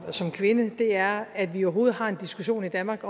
og som kvinde er at vi overhovedet har en diskussion i danmark